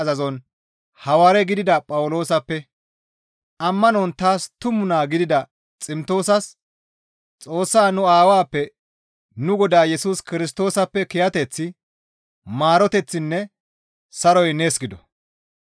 Ammanon taas tumu naa gidida Ximtoosas Xoossaa nu Aawappe nu Godaa Yesus Kirstoosappe kiyateththi, maaroteththinne saroy nees gido.